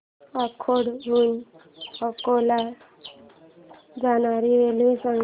अकोट हून अकोला ला जाणारी रेल्वे सांग